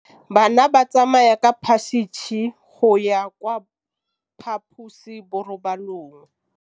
Bana ba tsamaya ka phašitshe go ya kwa phaposiborobalong.